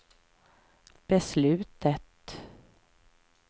beslutet